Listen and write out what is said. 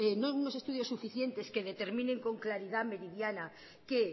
unos estudios suficientes que determinen con claridad meridiana que